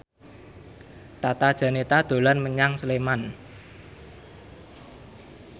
Tata Janeta dolan menyang Sleman